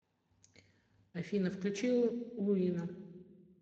афина включи луина